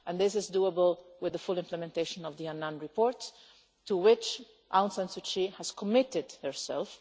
This is doable with the full implementation of the Annan report, to which Aung San Suu Kyi has committed herself.